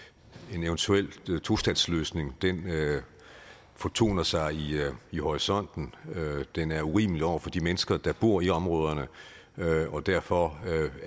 at en eventuel tostatsløsning fortoner sig i horisonten den er urimelig over for de mennesker der bor i områderne og derfor